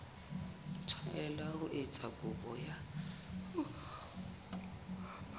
tshwanela ho etsa kopo ya